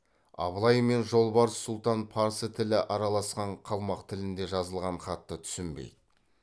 абылай мен жолбарыс сұлтан парсы тілі араласқан қалмақ тілінде жазылған хатты түсінбейді